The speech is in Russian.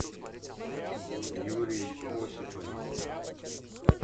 юрий осипович